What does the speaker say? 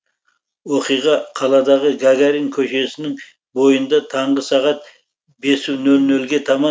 оқиға қаладағы гагарин көшесінің бойында таңғы сағат бес нөл нөлге таман